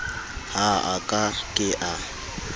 ha a ka ke a